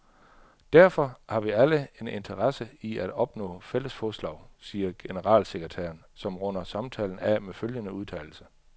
Derfor har vi alle en interesse i at opnå fælles fodslag, siger generalsekretæren, som runder samtalen af med følgende udtalelse.